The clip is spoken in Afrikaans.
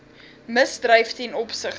misdryf ten opsigte